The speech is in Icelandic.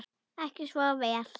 Ekki svo vel?